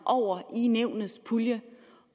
over i nævnets pulje